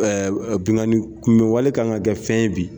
Ɛ Binkanni kunbɛ wale kan ka kɛ fɛn ye bi